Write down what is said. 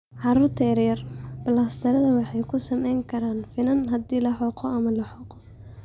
Carruurta yaryar, balastarrada waxay ku samayn karaan finan haddii la xoqo ama la xoqo.